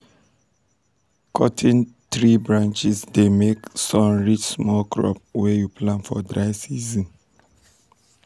cuttin um tree branches um dey make um sun reach small crops wey you plant for dry season.